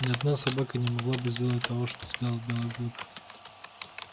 ни одна собака не могла бы сделать того что сделал белый клык